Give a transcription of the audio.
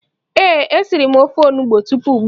Ee, e siri m ofe onugbo tupu ugbua